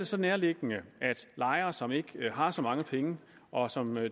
så nærliggende at tro at lejere som ikke har så mange penge og som